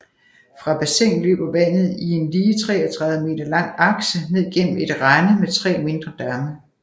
Fra bassinet løber vandet i en lige 33 meter lang akse ned gennem et rende med tre mindre damme